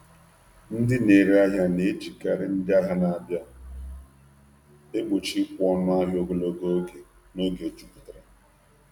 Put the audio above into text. Ndị na-ere ahịa na-ejikarị “ndị ahịa na-abịa” egbochi ịkwụ ọnụ ahịa ogologo oge n’oge jupụtara.